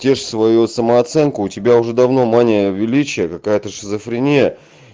тешь свою самооценку у тебя уже давно мания величия какая-то шизофрения